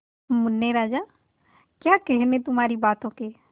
मुन्ने राजा क्या कहने तुम्हारी बातों के